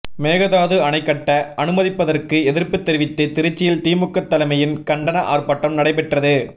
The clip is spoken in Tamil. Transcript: மேகதாது அணை கட்ட அனுமதிப்பதற்கு எதிர்ப்பு தெரிவித்து திருச்சியில் திமுக தலைமையில் கண்டன ஆர்ப்பாட்டம் நடைப்பெற்றது